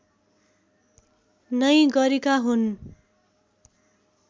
नै गरेका हुन्